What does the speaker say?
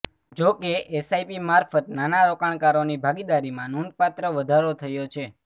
જો કે એસઆઈપી મારફત નાના રોકાણકારોની ભાગીદારીમાં નોંધપાત્ર વધારો થયો છે